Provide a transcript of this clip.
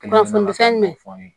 Kunnafoni fɛn mɛ fɔ n ye